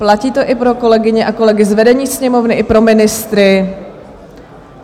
Platí to i pro kolegyně a kolegy z vedení Sněmovny i pro ministry.